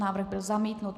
Návrh byl zamítnut.